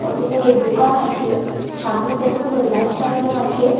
কতগুলো দুকান আছে সামনে কতগুলো লাইট লাগানো আছে।